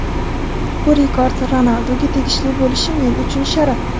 Bu rekord Ronalduga tegishli bo‘lishi — men uchun sharaf.